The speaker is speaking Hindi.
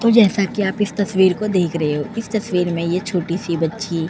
तो जैसा कि आप इस तस्वीर में देख रहे हो। इस तस्वीर में ये छोटी सी बच्ची --